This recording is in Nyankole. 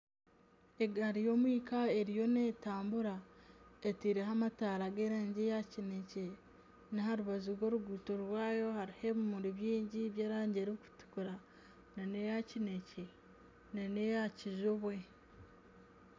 Egaari y'omwika eriyo netambura etaireho amataara g'erangi ya kinekye n'aha rubaju rw'oruguuto rwaayo hariho ebimuri byingi by'erangi erikutukura na neya kinekye na neya kijubwe.